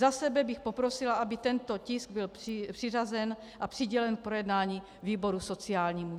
Za sebe bych poprosila, aby tento tisk byl přiřazen a přidělen k projednání výboru sociálnímu.